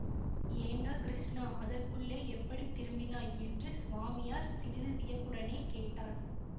ஏண்டா கிருஷ்ணா அதற்குள்ளே எப்படி திரும்பினாய் என்று சுவாமியார் சிறிது வியப்புடனே கேட்டார்